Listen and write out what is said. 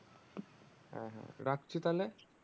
হ্যাঁ হ্যাঁ রাখছি তাহলে